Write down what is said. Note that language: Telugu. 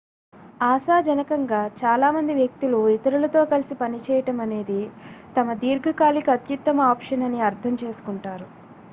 ఆశాజనకంగా చాలా మంది వ్యక్తులు ఇతరులతో కలిసి పనిచేయడం అనేది తమ దీర్ఘకాలిక అత్యుత్తమ ఆప్షన్ అని అర్థం చేసుకుంటారు